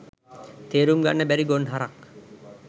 තේරුම් ගන්න බැරි ගොන් හරක්